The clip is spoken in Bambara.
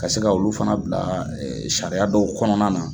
Ka se ka olu fana bila sariya dɔw kɔnɔna na